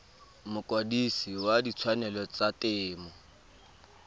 mokwadise wa ditshwanelo tsa temo